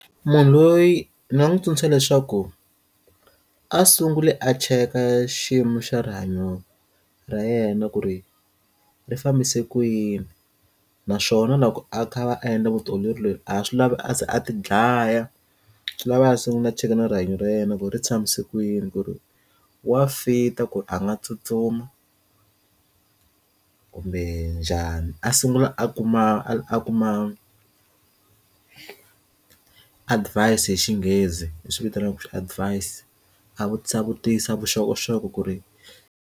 Munhu loyi ndzi nga n'wi tsundzuxa leswaku a sungule a cheka xiyimo xa rihanyo ra yena ku ri ri fambise ku yini naswona loko a kha a va a endla vutiolori loyi a swi lava a ze a ti dlaya swi lava a sungula cheka na rihanyo ra yena ku ri tshamise kwini ku ri wa fit-a ku a nga tsutsuma kumbe njhani a sungula a kuma a kuma advise hi xinghezi leswi vitaniwaka advance a vutisa vutisa vuxokoxoko ku ri.